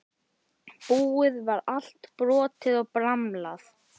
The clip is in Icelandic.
Búið var allt brotið og bramlað.